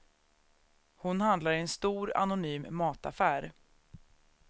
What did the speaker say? Hon handlar i en stor, anonym mataffär.